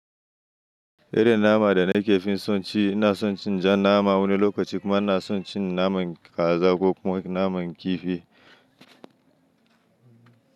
Irin nama da nake fin son ci, ina son cin jan nama wani lokaci kuma ina son cin naman kaza ko kuma naman kifi.